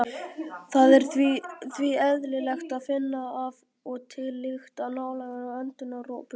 Það er því eðlilegt að finna af og til lykt nálægt öndunaropunum.